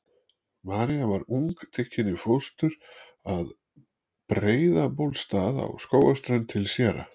María var ung tekin í fóstur að Breiðabólstað á Skógarströnd til séra